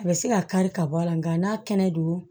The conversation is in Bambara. A bɛ se ka kari ka bɔ a la nka n'a kɛnɛ don